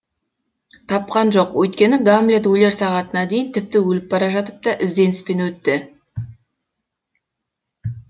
тапқан жоқ өйткені гамлет өлер сағатына дейін тіпті өліп бара жатып та ізденіспен өтті